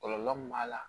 Kɔlɔlɔ min b'a la